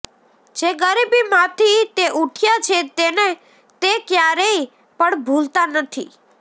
જે ગરીબી માંથી તે ઉઠ્યા છે તેને તે ક્યારેય પણ ભૂલતા નથી